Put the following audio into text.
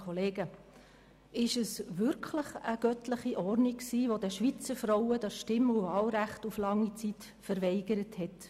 War es wirklich eine «göttliche Ordnung», die den Schweizer Frauen das Stimm- und Wahlrecht so lange Zeit verweigert hat?